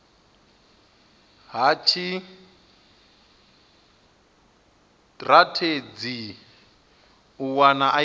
ha tshitirathedzhi u wana ip